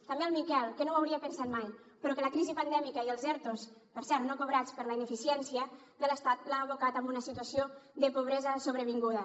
també al miquel que no ho hauria pensat mai però que la crisi pandèmica i els ertos per cert no cobrats per la ineficiència de l’estat l’ha abocat a una situació de pobresa sobrevinguda